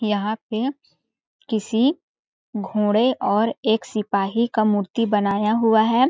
यहाँ पे किसी घोड़े और एक सिपाही का मूर्ति बनाया हुआ है।